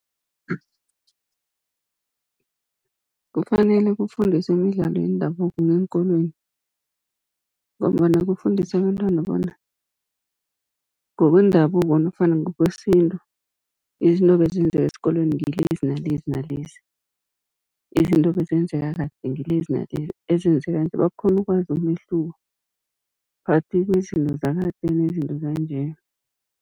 Kufanele kufundiswe imidlalo yendabuko ngeenkolweni, ngombana kufundiswa abentwana bona ngokwendabuko nofana ngokwesintu, izinto ebezenzeka esikolweni ngilezi nalezi, nalezi. Izinto ebezenzeka kade ngilezi , ezenzeka nje bakghone ukwazi umehluko phakathi kwezinto zakade nezinto zanje.